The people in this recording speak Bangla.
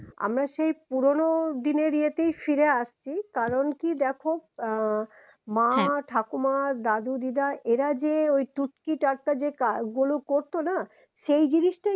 আমরা সেই পুরোনো দিনের ইয়েতেই ফিরে আসছি কারণ কি দেখো আ মা ঠাকুমা দাদু দিদা এরা যে ওই টুটকি টাটকা যে কাজ গুলো করেত না সেই জিনিস টাই